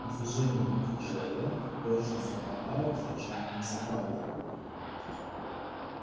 движения руки человека точно совпадали с рычанием собаки